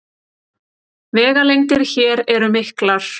Vegalengdir hér eru miklar